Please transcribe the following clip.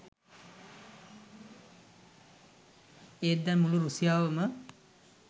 ඒත් දැන් මුළු රුසියාවම